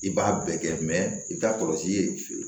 I b'a bɛɛ kɛ i bɛ taa kɔlɔsi ye